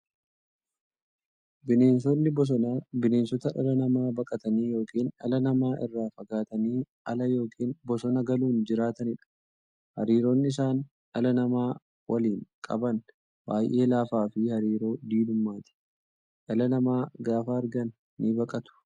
Bineensonni bosonaa bineensota dhala namaa baqatanii yookiin dhala namaa irraa fagaatanii ala yookiin bosona galuun jiraataniidha. Hariiroon isaan dhala namaa waliin qaban baay'ee laafaafi hariiroo diinummaati. Dhala namaa gaafa argan nibaqatu.